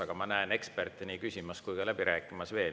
Aga ma näen eksperte nii küsimas kui ka läbi rääkimas veel.